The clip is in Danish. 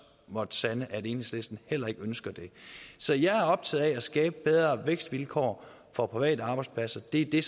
måttet sande at enhedslisten heller ikke ønsker det så jeg er optaget af at skabe bedre vækstvilkår for private arbejdspladser det er det